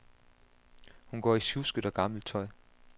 Hun går i sjusket og gammelt tøj.